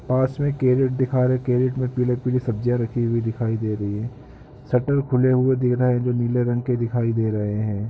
पास में कैरेट दिखारे कैरेट में पीले पीली सब्जीया रखी हुई दिखाई दे रही है सटल खुले हुए दिख रहै है जो नीले रंग के दिखाई दे रहे हैं।